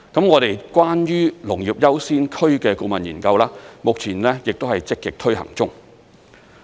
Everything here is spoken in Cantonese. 我們關於"農業優先區"的顧問研究，目前亦都是積極推行中。